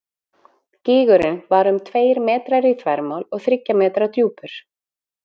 Gígurinn var um tveir metrar í þvermál og þriggja metra djúpur.